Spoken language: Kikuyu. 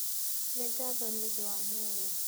Nĩ ngatho nĩ ũndũ wa muoyo.